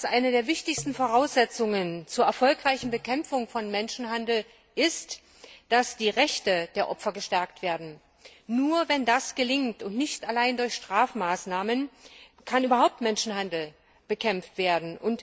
Eine der wichtigsten Voraussetzungen zur erfolgreichen Bekämpfung von Menschenhandel ist, dass die Rechte der Opfer gestärkt werden. Nur wenn das gelingt und nicht allein durch Strafmaßnahmen kann der Menschhandel überhaupt bekämpft werden.